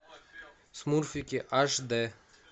смурфики аш д